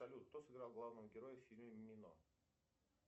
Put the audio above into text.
салют кто сыграл главного героя в фильме мимино